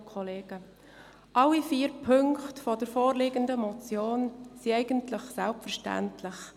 Alle vier Punkte der vorliegenden Motion sind eigentlich selbstverständlich.